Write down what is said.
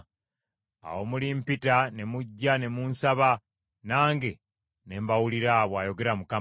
“Awo mulimpita ne mujja ne munsaba, nange ne mbawulira,” bw’ayogera Mukama .